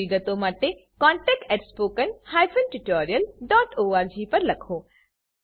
વધુ વિગતો માટે કૃપા કરી contactspoken tutorialorg પર લખો